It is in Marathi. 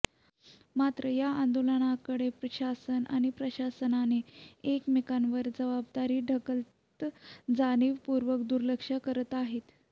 मात्र या आंदोलनाकडे शासन आणि प्रशासनाने एकमेकांवर जबाबदारी ढकलत जाणीवपूर्वक दुर्लक्ष करत आहेत